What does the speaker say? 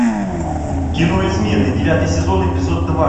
кино измена девятый сезон эпизод два